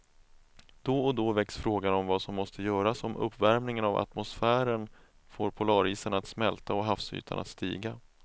Då och då väcks frågan om vad som måste göras om uppvärmingen av atmosfären får polarisarna att smälta och havsytan att stiga.